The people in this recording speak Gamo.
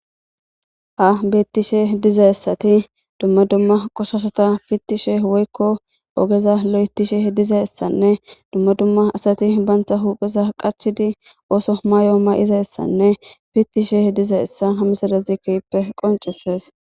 ha bettishe dizayssati dumma dumma qoshaashata fittishe woykko ogeza lo'etishe dizayssanne dumma dumma asati bantha hupheza qachidi ooso maayo mayizayssanne fittishe dizayssa ha misale kehippe qoncisses.